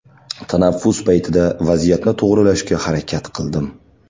Tanaffus paytida vaziyatni to‘g‘rilashga harakat qildim.